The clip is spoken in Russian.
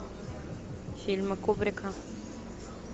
фильмы кубрика